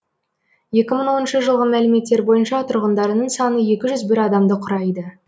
екі мың оныншы жылғы мәліметтер бойынша тұрғындарының саны екі жүз бір адамды құрайды